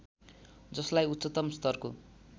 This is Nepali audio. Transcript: जसलाई उच्चतम स्तरको